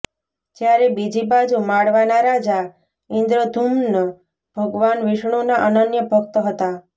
જ્યારે બીજી બાજુ માળવાના રાજા ઈન્દ્રદ્યુમ્ન ભગવાન વિષ્ણુના અનન્ય ભક્ત હતા